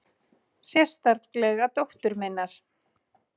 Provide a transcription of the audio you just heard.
Sérstaklega dóttur minnar.